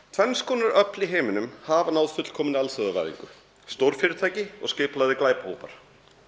tvenns konar öfl í heiminum hafa náð fullkominni alþjóðavæðingu stórfyrirtæki og skipulagðir glæpahópar